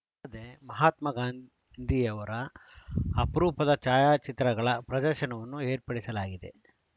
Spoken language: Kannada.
ಅಲ್ಲದೆ ಮಹಾತ್ಮ ಗಾಂಧಿಯವರ ಅಪರೂಪದ ಛಾಯಾಚಿತ್ರಗಳ ಪ್ರದರ್ಶನವನ್ನು ಏರ್ಪಡಿಸಲಾಗಿದೆ